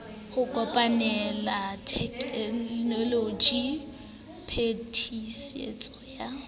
ho kopanela tekenoloji phetisetso ya